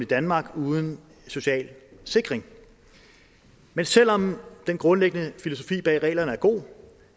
danmark uden social sikring men selv om den grundlæggende filosofi bag reglerne er god